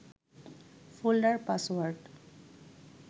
folder password